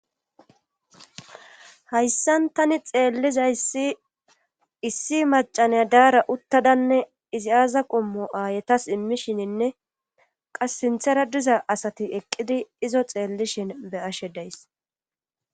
Hayssan tani xeeliza issi macca nay daara uttadanne izi aza qommo aayetas immishininne qas sinthara diza eqqizi izo xeelishin be'ashe days.